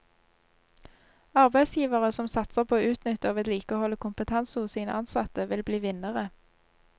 Arbeidsgivere som satser på å utnytte og vedlikeholde kompetanse hos sine ansatte, vil bli vinnere.